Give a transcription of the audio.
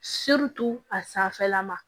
a sanfɛla ma